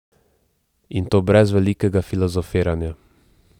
In to brez velikega filozofiranja.